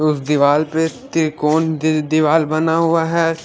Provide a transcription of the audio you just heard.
उस दिवार पे इत्ती कोन दि-दि-दिवार बना हुआ हैं।